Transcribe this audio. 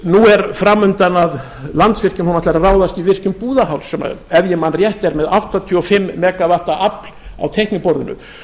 nú er framundan að landsvirkjun ætlar að ráðast í virkjun búðarháls sem er ef ég man rétt er með áttatíu og fimm megavatta afl á teikniborðinu